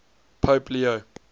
pope leo